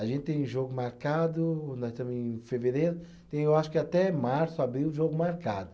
A gente tem jogo marcado, nós estamos em fevereiro, tem eu acho que até março, abril, jogo marcado.